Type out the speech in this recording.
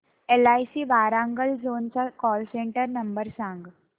LIC Warangal zone चा call centre number सांग